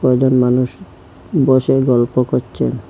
কজন মানুষ বসে গল্প করচে।